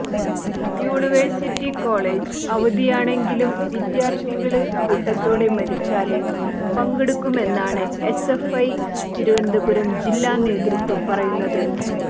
university college അവധിയാണെങ്കിലും വിദ്യാര്ത്ഥികള് കൂട്ടത്തോടെ മാര്ച്ചില് പങ്കെടുക്കുമെന്നാണ് എസ്എഫ്ഐ തിരുവനന്തപുരം ജില്ലാ നേതൃത്വം പറയുന്നത്